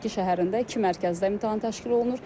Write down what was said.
Şəki şəhərində iki mərkəzdə imtahan təşkil olunur.